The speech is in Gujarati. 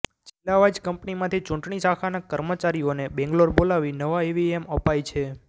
જિલ્લાવાઇઝ કંપનીમાંથી ચૂંટણી શાખાના કર્મચારીઓને બેંગલોર બોલાવી નવા ઇવીએમ અપાય છે